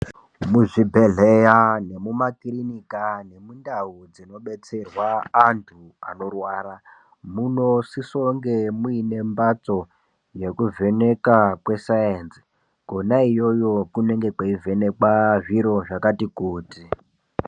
Muzvibhedhleya nemumakirinika nemundau dzinobetserwa antu anorwara munosisonge muine mbatso yekuvheneka kwesaenzi kwona iyoyo kunenge kweivhenekwa zviro zvakati kuti.